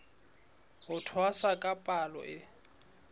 ho tshwasa ka palo e